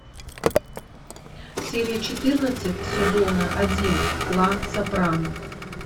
серия четырнадцать сезона один клан сопрано